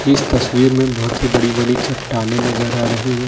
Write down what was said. इस तस्वीर में बहुत ही बड़ी बड़ी चट्टानी नजर आ रही है।